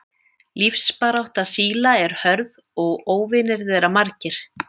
Lífsbarátta síla er hörð og óvinir þeirra margir.